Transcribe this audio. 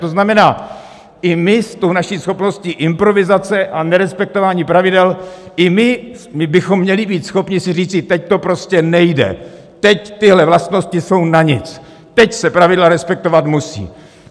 To znamená, i my s tou naší schopností improvizace a nerespektování pravidel, i my bychom měli být schopni si říci: teď to prostě nejde, teď tyhle vlastnosti jsou na nic, teď se pravidla respektovat musí.